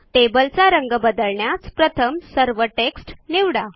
टेबलचा रंग बदलण्यास प्रथम सर्व टेक्स्ट निवडा